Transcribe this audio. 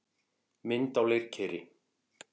Mynd á leirkeri.